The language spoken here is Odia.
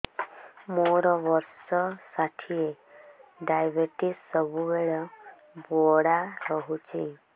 ମୋର ବର୍ଷ ଷାଠିଏ ଡାଏବେଟିସ ସବୁବେଳ ବଢ଼ା ରହୁଛି